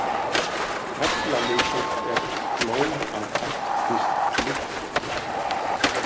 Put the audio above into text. Fellalykill er blóm af ættkvísl lykla.